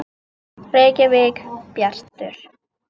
Reykjavík: Bjartur.